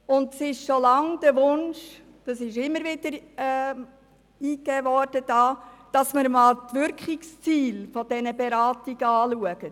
Es besteht schon lange der Wunsch, dass man einmal die Wirkungsziele dieser Beratungen untersucht.